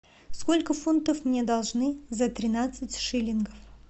сколько фунтов мне должны за тринадцать шиллингов